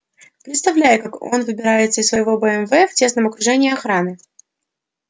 представляю как он выбирается из своего бмв в тесном окружении охраны